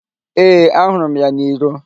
Ee, ahụrụ m ya n'iro.